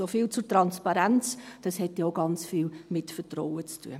Soviel zur Transparenz, das hat dann auch ganz viel mit Vertrauen zu tun.